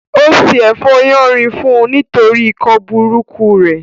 Ó se ẹ̀fọ́ yánrin fún un nítorí ikọ́ burúkú rẹ̀